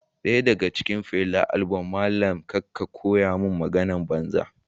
Daya daga cikin Fela abulm malami kar ka koya mani maganar banza